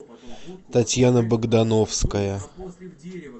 татьяна богдановская